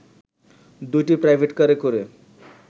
দুটি প্রাইভেটকারে করে